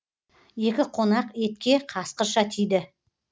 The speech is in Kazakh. екі қонақ етке қасқырша тиді